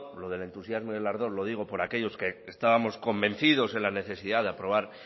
lo del entusiasmo y el ardor lo digo por aquellos que estábamos convencidos de la necesidad de aprobar